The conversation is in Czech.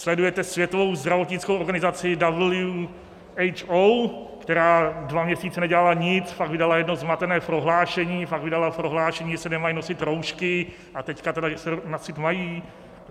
Sledujete světovou zdravotnickou organizaci WHO, která dva měsíce nedělala nic, pak vydala jedno zmatené prohlášení, pak vydala prohlášení, že se nemají nosit roušky, a teď tedy že se nosit mají?